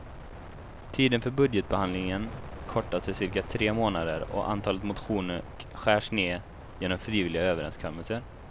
Tiden för budgetbehandlingen kortas till cirka tre månader och antalet motioner skärs ned genom frivilliga överenskommelser.